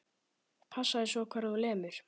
Passaðu svo hvar þú lemur.